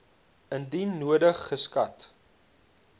indien nodig geskat